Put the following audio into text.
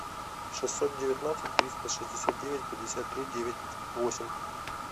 шестьсот девятнадцать триста шестьдесят девять пятьдесят три девять восемь